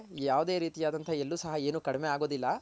ಯಾವ್ದೆ ರೀತಿ ಆದಂತಹ ಎಲ್ಲೂ ಸಹ ಏನು ಕಡ್ಮೆ ಆಗೋದಿಲ್ಲ